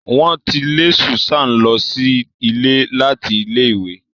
Wọn ti lè Susan lọ sí ilé láti ilẹ ìwé.